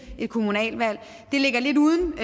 et kommunalvalg det ligger lidt uden